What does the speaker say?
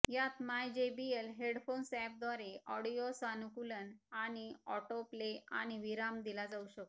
यात my JBL headphones अॅपद्वारे audio सानुकूलन आणि ऑटो प्ले आणि विराम दिला जाऊ शकतो